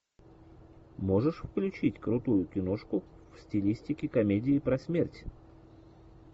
можешь включить крутую киношку в стилистике комедии про смерть